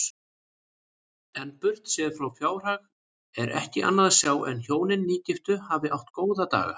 En burtséð frá fjárhag er ekki annað sjá en hjónin nýgiftu hafi átt góða daga.